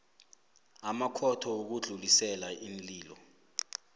namakhotho wokudlulisela iinlilo